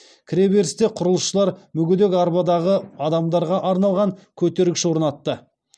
кіреберісте құрылысшылар мүгедек арбадағы адамдарға арналған көтергіш орнатты